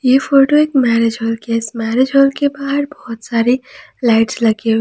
ये फोटो एक marriage hall की है इस मैरिज हॉल के बाहर बहोत सारे लाइट्स लगे हुए--